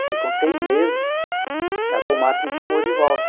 Aí, com seis meses, a Komatsu me chamou de volta.